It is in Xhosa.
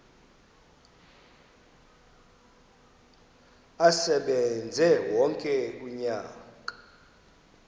asebenze wonke umnyaka